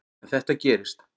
En þetta gerist.